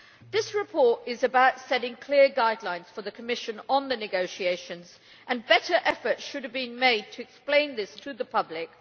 This report is about setting clear guidelines for the Commission on the negotiations, and better effort should have been made to explain this to the public.